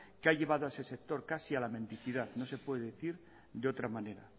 que ha llevado a ese sector casi a la mendicidad no se puede decir de otra manera